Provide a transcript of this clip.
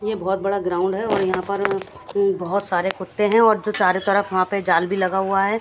ये बहोत बड़ा ग्राउंड है और यहां पर बहोत सारे कुत्ते हैं और जो चारों तरफ वहां पे जाल भी लगा हुआ है।